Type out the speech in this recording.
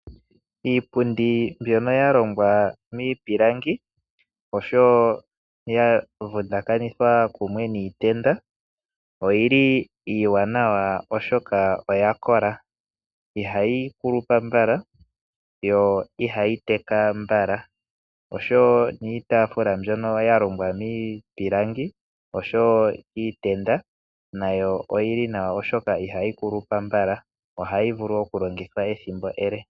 Iipundi mbyono ya longwa miipilangi oshowo ya vundakanithwa kumwe niitenda oyili iiwanawa oshoka oyakola ,ihayi kulupa mbala yo ihayi teka mbala, oshowo niitaafula mbyono ya longwa miipilangi oshowo iitenda nayo oyili nawa oshoka ihayi kulupa mbala o ha yi vulu okuyilongithwa ethimbo ele.